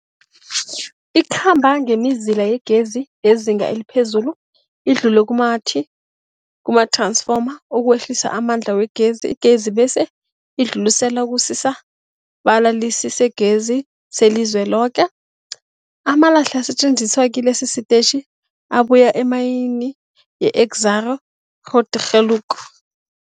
Ikhamba ngemizila yegezi yezinga eliphezulu idlule kumath-ransfoma ukwehlisa amandla wegezi. Igezi bese idluliselwa kusisa-balalisigezi selizweloke. Amalahle asetjenziswa kilesi sitetjhi abuya emayini yeExxaro's Grootegeluk.